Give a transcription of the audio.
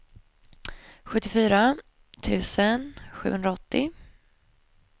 sjuttiofyra tusen sjuhundraåttio